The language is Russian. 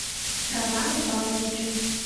романом павловичем